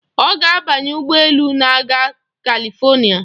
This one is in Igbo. Ọ ga-abanye ụgbọ elu na-aga Kalifonịa.